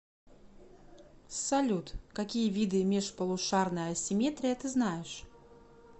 салют какие виды межполушарная асимметрия ты знаешь